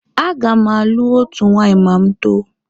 A ga m alụ otu nwaanyị ma m too.